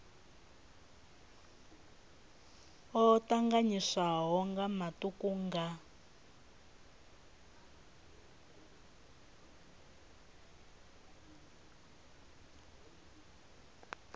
o tanganyiswaho nga matuku nga